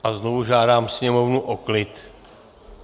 A znovu žádám sněmovnu o klid.